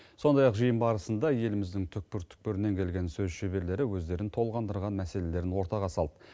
сондай ақ жиын барысында еліміздің түкпір түкпірінен келген сөз шеберлері өздерін толғандырған мәселелерін ортаға салды